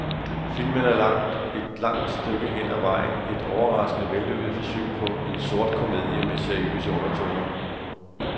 Filmen er et langt stykke hen af vejen et overraskende vellykket forsøg på en sort komedie med seriøse undertoner.